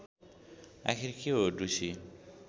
आखिर के हो ढुसी